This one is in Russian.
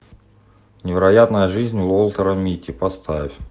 невероятная жизнь уолтера митти поставь